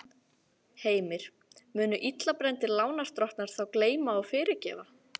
Heimir: Munu illa brenndir lánadrottnar þá gleyma og fyrirgefa?